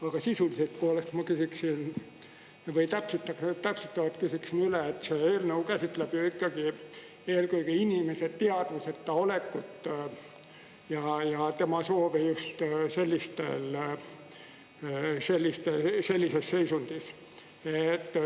Aga sisulisest poolest ma täpsustavalt küsiksin üle, et see eelnõu käsitleb ju ikkagi eelkõige inimese teadvuseta olekut ja tema soovi just sellises seisundis.